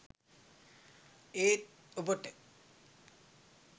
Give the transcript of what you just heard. ඒත් ඔබට